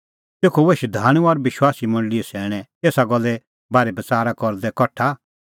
तेखअ हुऐ शधाणूं और विश्वासी मंडल़ीए सैणैं एसा गल्ले बारै बच़ारा करदै कठा